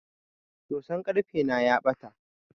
Soson karfe na ya bata.